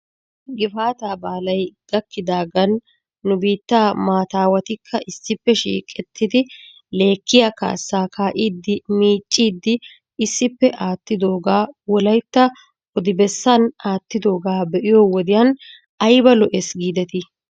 Gifaataa baalay gakkidaagan nu biitta maataawatikka issippe shiiqettidi lekkiyaa kaassaa kaa'iiddi miicciiddi issippe aattidoogaa wolaytta odibessan aattidoogaa be'iyoo wodiyan ayba lo'es giidetii?